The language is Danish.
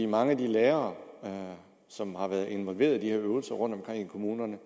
mange af de lærere som har været involveret i de her øvelser rundtomkring i kommunerne